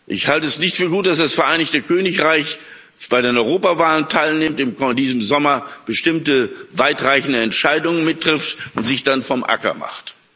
Ich halte es nicht für gut, dass das Vereinigte Königreich an den Europawahlen teilnimmt und in diesem Sommer bestimmte weitreichende Entscheidungen mit trifft und sich dann vom Acker macht.